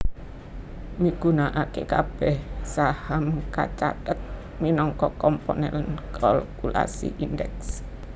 migunakaké kabèh saham kacathet minangka komponèn kalkulasi Indeks